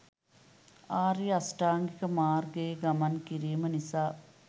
ආර්ය අෂ්ටාංගික මාර්ගයේ ගමන් කිරීම නිසා